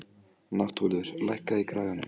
Náttúlfur, lækkaðu í græjunum.